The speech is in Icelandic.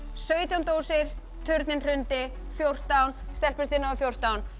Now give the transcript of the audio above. sautján dósir turninn hrundi fjórtán stelpur þið náðuð fjórtán